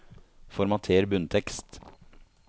Formater bunntekst